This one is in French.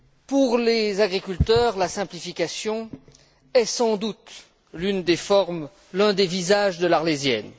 Pour les agriculteurs, la simplification est sans doute l'une des formes, l'un des visages de l'Arlésienne.